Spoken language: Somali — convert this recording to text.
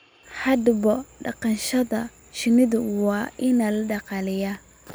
Haddaba, dhaqashada shinnidu waa il dhaqaale